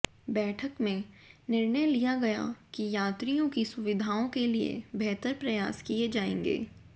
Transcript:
बैठक में निर्णय लिया गया कि यात्रियों की सुविधाओं के लिए बेहतर प्रयास किए जाएंगे